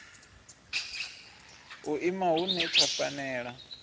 u ima hune tsha fanela